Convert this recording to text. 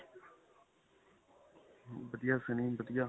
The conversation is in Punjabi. ਵਧੀਆ, ਸੰਨੀ ਵਧੀਆ .